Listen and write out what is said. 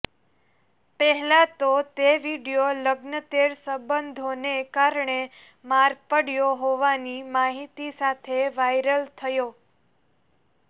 પહેલા તો તે વીડિયો લગ્નતેર સંબંધોને કારણે માર પડ્યો હોવાની માહિતી સાથે વાયરલ થયો